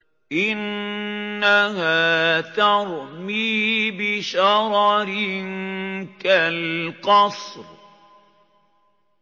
إِنَّهَا تَرْمِي بِشَرَرٍ كَالْقَصْرِ